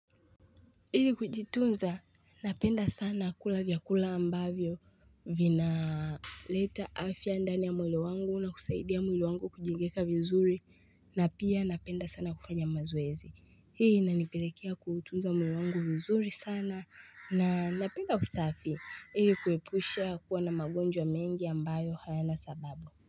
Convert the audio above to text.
Ili kujitunza napenda sana kula vyakula ambavyo vinaleta afya ndani ya mwili wangu na kusaidia mwili wangu kujengeka vizuri na pia napenda sana kufanya mazoezi hii inanipelekea kuutunza mwili wangu vizuri sana na ninapenda usafi ili kuepusha kuwa na magonjwa mengi ambayo hayana sababu.